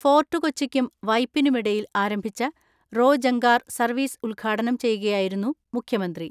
ഫോർട്ടു കൊച്ചിക്കും വൈപ്പിനുമിടയിൽ ആരംഭിച്ച റോ ജങ്കാർ സർവ്വീസ് ഉദ്ഘാടനം ചെയ്യുകയായിരുന്നു മുഖ്യമന്ത്രി.